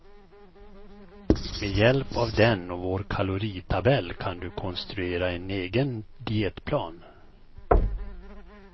Med hjälp av den och vår kaloritabell kan du konstruera en egen dietplan.